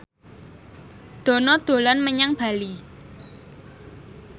Dono dolan menyang Bali